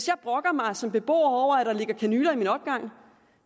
jeg brokker mig som beboer over at der ligger kanyler i min opgang